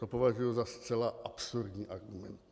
To považuji za zcela absurdní argument.